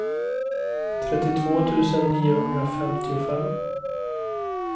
trettiotvå tusen niohundrafemtiofem